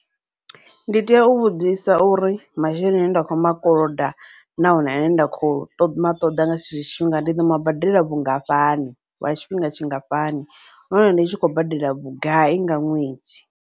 Ndi tea u vhudzisa uri masheleni ane nda khou makoloda nahone ane nda khou ṱoḓa nga tshetsho tshifhinga, ndi ḓo mabadela vhungafhani lwa tshifhinga tshingafhani nahone ndi tshi khou badela vhugai nga ṅwedzi.